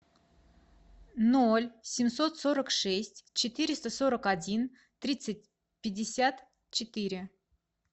ноль семьсот сорок шесть четыреста сорок один тридцать пятьдесят четыре